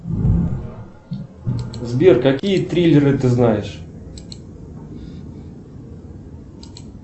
сбер какие триллеры ты знаешь